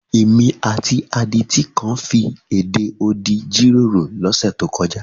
Èmi àti adití kan fi èdè odi jíròrò lọ́sẹ̀ tó kọjá.